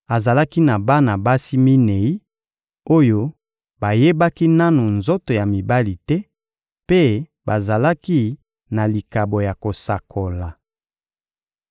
Azalaki na bana basi minei oyo bayebaki nanu nzoto ya mibali te, mpe bazalaki na likabo ya kosakola.